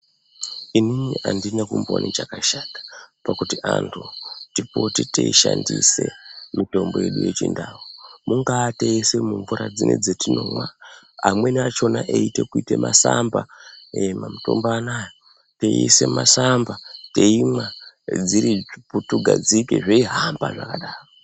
Inini andina kumboona chakshata pakuti antu tipote teishandisa mitombo yedu yechindau mungaata mumvura dzese dzatinomwa amweni achona eita kuita masamba mitombo anawa veissa masamba veimwa dziri svutu gadzike zveihamba zvakadaro.